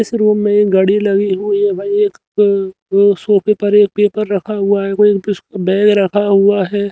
इस रूम में घड़ी लगी हुई है भाई एक अं अं सोफे पर एक पेपर रखा हुआ है कोई प्स बैग रखा हुआ है।